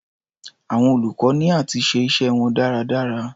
Àwọn olùkọ́ ní áti ṣe iṣẹ́ wọn dáradára.